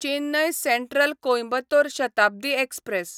Chennai central Coimbatore Shatabdi express